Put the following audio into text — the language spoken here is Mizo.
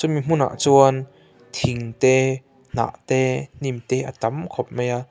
hemi hmunah chuan thing te hnah te hnim te a tam khawp mai a--